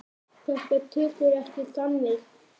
Þetta tekur ekki þannig á.